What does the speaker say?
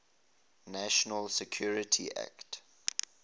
national security act